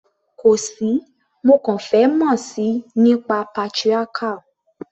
Kò sí, mo kàn fẹ́ mọ̀ síi nípa patriarchal.